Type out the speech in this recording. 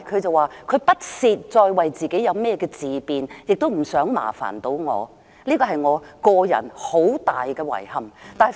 她說不屑再為自己自辯，亦不想麻煩我，這是我個人很大的遺憾。